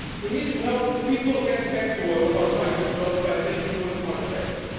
We need to help people get back to work or find new jobs by making work more attractive.